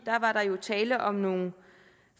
da var der jo tale om nogle